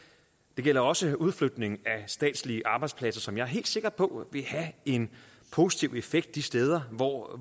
det gælder også udflytningen af statslige arbejdspladser som jeg er helt sikker på vil have en positiv effekt de steder hvor